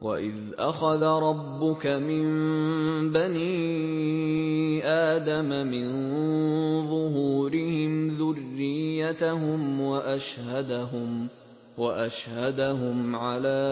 وَإِذْ أَخَذَ رَبُّكَ مِن بَنِي آدَمَ مِن ظُهُورِهِمْ ذُرِّيَّتَهُمْ وَأَشْهَدَهُمْ عَلَىٰ